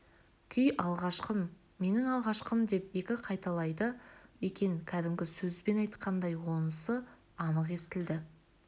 күй алғашқым менің алғашқым деп екі қайталайды екен кәдімгі сөзбен айтқандай онысы анық естілді